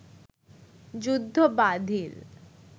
যুদ্ধ বাধিল